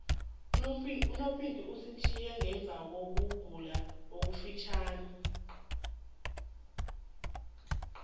unopinki usitjhiye ngemvakokugula okufitjhazana